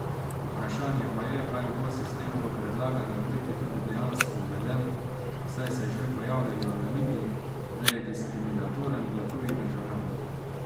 Vprašanje pa je, ali bo sistem v predlagani obliki tudi dejansko uveden, saj se že pojavljajo namigi, da je diskriminatoren do tujih državljanov.